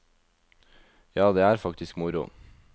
Ja, det er faktisk moro.